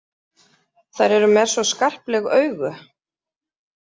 Þær eru með svo skarpleg augu.